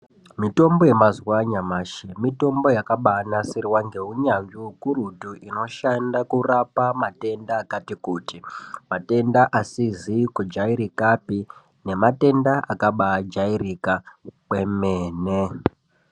Mutombo yemazuwa anyamashi mitombo yakabaanasirwa ngeunyazvi ukurutu inoshanda kurapa matenda akati kuti matenda asizi kujairika pe nematenda akabaa jairika kwemene.